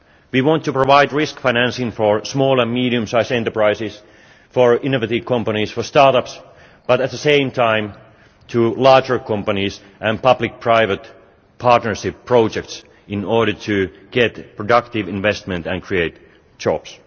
We want to provide risk financing for small and medium sized enterprises, for innovative companies, for start ups, but at the same time for larger companies and public private partnership projects in order to get productive investment and create jobs.